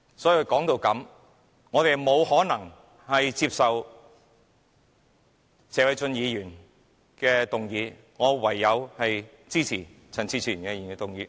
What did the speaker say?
所以，說到這裏，我們不可能接受謝偉俊議員的議案，我唯有支持陳志全議員的議案。